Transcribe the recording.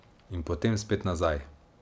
In potem spet nazaj.